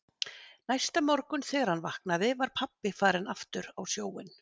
Næsta morgun þegar hann vaknaði var pabbi farinn aftur á sjóinn.